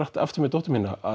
aftur með dóttur mína